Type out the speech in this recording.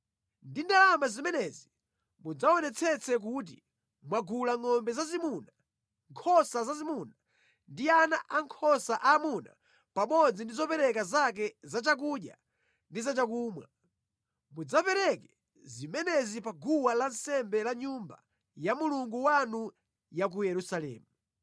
Ndi ndalama zimenezi mudzaonetsetse kuti mwagula ngʼombe zazimuna, nkhosa zazimuna ndi ana ankhosa aamuna pamodzi ndi zopereka zake za chakudya ndi za chakumwa. Mudzapereke zimenezi pa guwa lansembe la Nyumba ya Mulungu wanu ya ku Yerusalemu.